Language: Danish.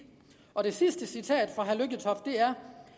og det sidste citat fra herre